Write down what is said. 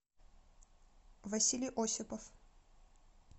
василий осипов